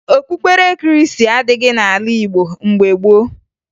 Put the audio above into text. Okpukpere Krịịstị adịghị n'ala Igbo mgbe gboo